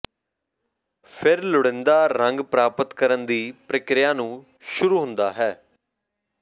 ਫਿਰ ਲੋੜੀਦਾ ਰੰਗ ਪ੍ਰਾਪਤ ਕਰਨ ਦੀ ਪ੍ਰਕਿਰਿਆ ਨੂੰ ਸ਼ੁਰੂ ਹੁੰਦਾ ਹੈ